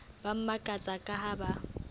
ba makatsa ka ha ba